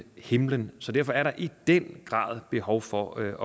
himlen derfor er der i den grad behov for at